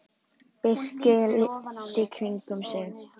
Birkir leit í kringum sig.